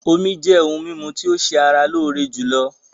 Omí jẹ́ òhún mímú tí o ṣé ara lóore jùlọ.